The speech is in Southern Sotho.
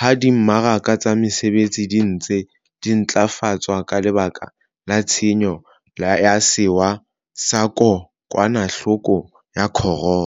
ha di mmaraka tsa mesebetsi di ntse di ntlafatswa ka lebaka la tshenyo ya sewa sa ko kwanahloko ya corona.